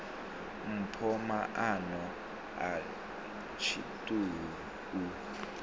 mpho maano a tshiṱuhu u